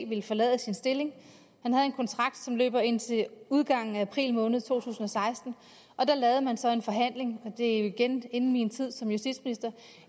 ville forlade sin stilling han havde en kontrakt som løb indtil udgangen af april måned to tusind og seksten og der lavede man så en forhandling og det er jo igen inden min tid som justitsminister